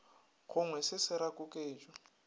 gongwe se se ra koketšo